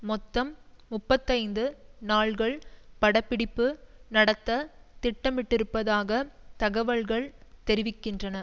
மொத்தம் முப்பத்தைந்து நாள்கள் படப்பிடிப்பு நடத்த திட்டமிட்டிருப்பதாக தகவல்கள் தெரிவிக்கின்றன